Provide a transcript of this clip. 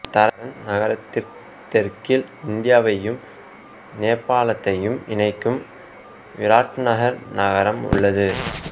தரண் நகரத்திற்க் தெற்கில் இந்தியாவையும் நேபாளத்தையும் இணைக்கும் விராட்நகர் நகரம் உள்ளது